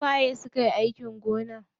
Su waye sukayi aikin gona?